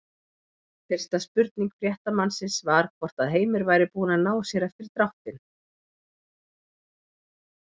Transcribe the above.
Fyrsta spurning fréttamannsins var hvort að Heimir væri búinn að ná sér eftir dráttinn?